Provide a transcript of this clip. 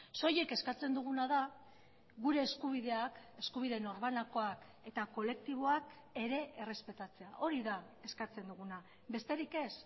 soilik eskatzen duguna da gure eskubideak eskubide norbanakoak eta kolektiboak ere errespetatzea hori da eskatzen duguna besterik ez